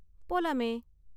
போலாமே!